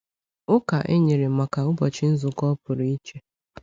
Ụka e nyere maka ụbọchị nzukọ pụrụ iche.